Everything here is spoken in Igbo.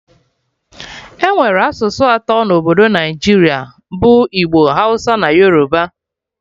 Enwere asụsụ atọ na Obodo Naijiria bụ Igbo, Hausa na Yoruba